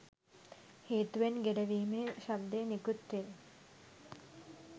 හේතුවෙන් ගෙරවීමේ ශබ්දය නිකුත්වේ.